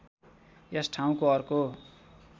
यस ठाउँको अर्को